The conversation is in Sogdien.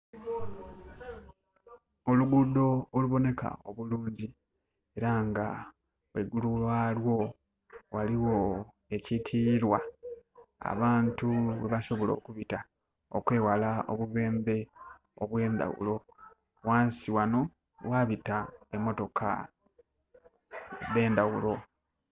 Oluguudo oluboneka obulungi era nga ghaigulu gha lwo ghaligho ekyitilirwa, abantu ghe basobola okubita, okweghala obubendhe obwendhaghulo. Ghansi ghano ghabita emotoka edh'endaghulo.